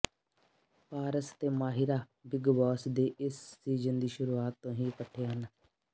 ਪਾਰਸ ਅਤੇ Mahira Bigg Boss ਦੇ ਇਸ ਸੀਜਨ ਦੀ ਸ਼ੁਰੂਆਤ ਤੋਂ ਹੀ ਇਕੱਠੇ ਹਨ